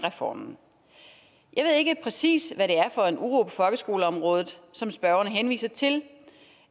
reformen jeg ved ikke præcis hvad det er for en uro på folkeskoleområdet som spørgeren henviser til